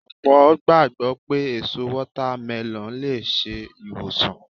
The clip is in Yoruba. Ọ̀pọ̀ gbàgbọ́ pé èso Wọ́támẹlọ̀n lè ṣe ìwòsàn